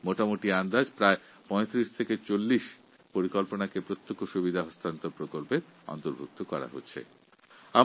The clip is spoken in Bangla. এক সাধারণ হিসাব অনুযায়ী ডাইরেক্ট বেনিফিট ট্রান্সফারএর মধ্যে প্রায় ৩৫ থেকে ৪০টি প্রকল্পকে অন্তর্ভুক্ত করা হয়েছে